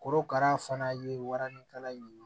Korokara fana ye waranikala in ye